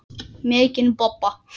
Mikinn bobba.